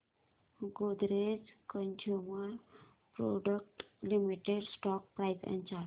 Godrej consumer products limited stock price and chart